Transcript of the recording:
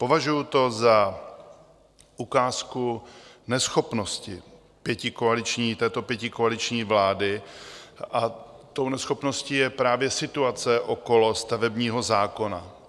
Považuji to za ukázku neschopnosti této pětikoaliční vlády a tou neschopností je právě situace okolo stavebního zákona.